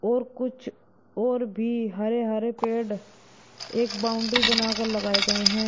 और कुछ और भी हरे हरे पेड़ एक बाउंड्री बनाकर लगाए गए हैं।